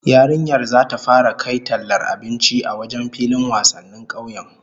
Yarinyar zata fara kai tallar abinci a wajen filin wasannin kauyen